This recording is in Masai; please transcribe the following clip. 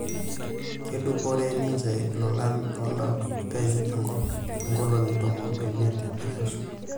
Keduporee ninje ilolan loolopenye enkop inkolongi tomon ooimeit e pesho.